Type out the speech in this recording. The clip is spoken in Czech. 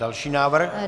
Další návrh.